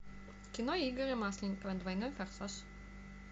кино игоря масленникова двойной форсаж